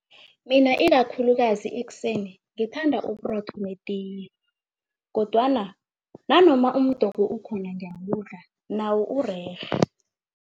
Mina ikakhulukazi ekuseni ngithanda uburotho meeting kodwana nanoma umdoko ukhona nawo urerhe.